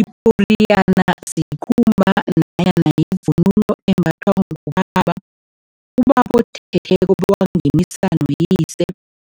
Iporiyana sikhumba nanyana yivunulo embathwa ngubaba, ubaba othetheko bewangenisa noyise.